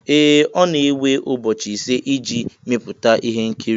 Ee! Ọ na-ewe ụbọchị ise iji mepụta ihe nkiri